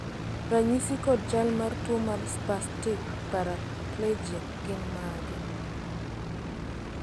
ranyisi kod chal mar tuo mar Spastic paraplegia gin mage?